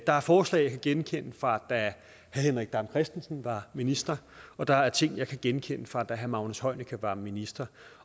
der er forslag jeg kan genkende fra den da herre henrik dam kristensen var minister og der er ting jeg kan genkende fra da herre magnus heunicke var minister